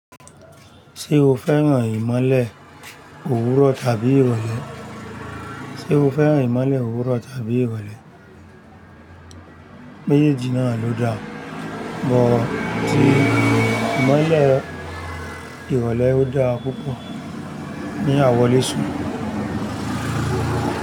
Ṣé o fẹ́ràn ìmọ́lẹ̀ òwúrọ̀ tàbí ìrọ̀lẹ́? Ṣé o fẹ́ràn ìmọ́lẹ̀ òwúrọ̀ tàbí ìrọ̀lẹ́? Méjèèjì na lo da mo ti imọle ìrọ̀lẹ́ o da púpọ̀ fún awọle sùn.